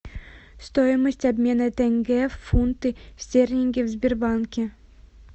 стоимость обмена тенге в фунты стерлинги в сбербанке